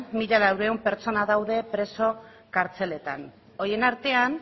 mila laurehun pertsona daude preso kartzeletan horien artean